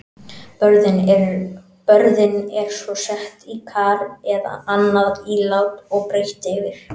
Börðin eru svo sett í kar eða annað ílát og breitt yfir.